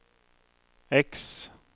X